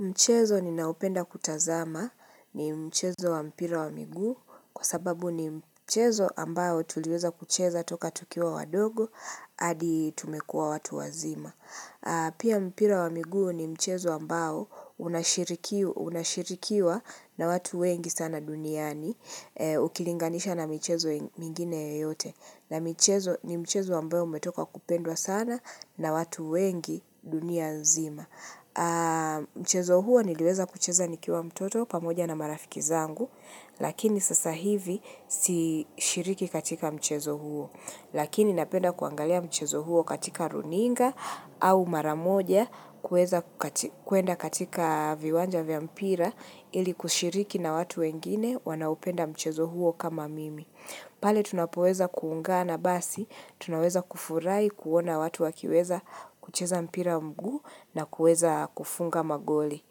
Mchezo ninaupenda kutazama ni mchezo wa mpira wa miguu kwa sababu ni mchezo ambayo tuliweza kucheza toka tukiwa wadogo hadi tumekuwa watu wazima. Pia mpira wa miguu ni mchezo ambao unashirikiwa na watu wengi sana duniani ukilinganisha na michezo mingine yeyote. Na michezo ni mchezo ambayo umetoka kupendwa sana na watu wengi dunia zima. Mchezo huo niliweza kucheza nikiwa mtoto pamoja na marafiki zangu Lakini sasa hivi si shiriki katika mchezo huo Lakini napenda kuangalia mchezo huo katika runinga au maramoja kuweza kuenda katika viwanja vya mpira ili kushiriki na watu wengine wanaopenda mchezo huo kama mimi pale tunapoweza kuungana basi Tunaweza kufurahi kuona watu wakiweza kucheza mpira mguu na kuweza kufunga magoli.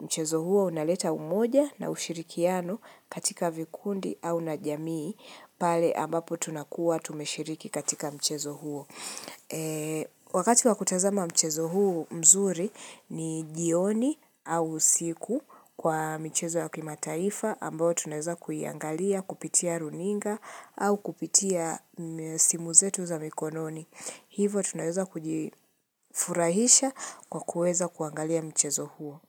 Mchezo huo unaleta umoja na ushirikiano katika vikundi au na jamii pale ambapo tunakuwa tumeshiriki katika mchezo huo. Wakati wa kutazama mchezo huu mzuri ni jioni au usiku kwa michezo wakimataifa ambayo tunaweza kuiangalia, kupitia runinga au kupitia simu zetu za mikononi. Hivo tunaweza kujifurahisha kwa kuweza kuangalia mchezo huo.